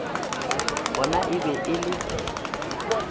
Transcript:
gona e be e le